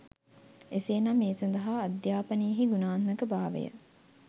එසේ නම් ඒ සඳහා අධ්‍යාපනයෙහි ගුණාත්මක භාවය